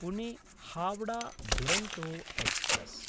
Pune Howrah Duronto express